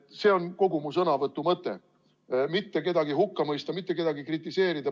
See on kogu mu sõnavõtu mõte, mitte kedagi hukka mõista, mitte kedagi kritiseerida.